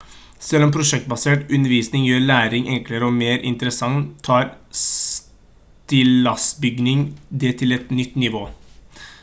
selv om prosjektbasert undervisning gjør læring enklere og mer interessant tar stillasbygging det til et nytt nivå